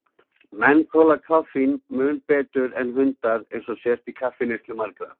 Menn þola koffín mun betur en hundar, eins og sést á kaffineyslu margra.